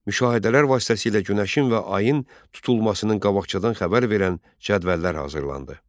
Müşahidələr vasitəsilə günəşin və ayın tutulmasının qabaqcadan xəbər verən cədvəllər hazırlandı.